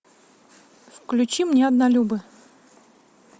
включи мне однолюбы